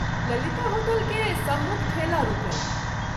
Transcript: Lalita hotel के सम्मुख ठेला रूकल।